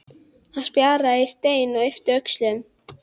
Hann sparkar í stein og ypptir öxlum.